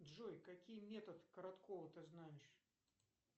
джой какие метод короткова ты знаешь